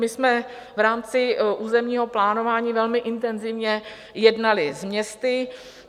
My jsme v rámci územního plánování velmi intenzivně jednali s městy.